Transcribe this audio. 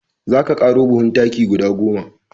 Za ka ƙaro buhun taki guda goma.